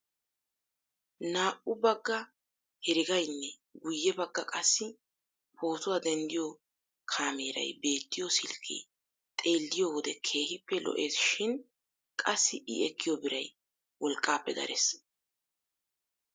Naa"u bagga heregaynne guye bagga qassi pootuwaa denttiyoo kameeray beettiyoo silkkee xeelliyoo wode keehippe lo"esishin qassi i ekkiyoo biray wolqqaappe darees.